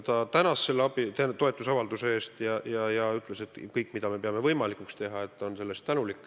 Ta tänas toetusavalduse eest ja ütles, et ta on tänulik kõige eest, mida me peame võimalikuks teha.